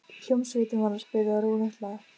Hljómsveitin var að spila rólegt lag.